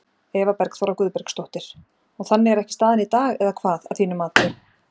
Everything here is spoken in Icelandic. Eva Bergþóra Guðbergsdóttir: Og þannig er ekki staðan í dag eða hvað, að þínu mati?